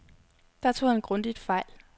Der tog han grundigt fejl.